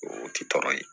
O ti tɔɔrɔ ye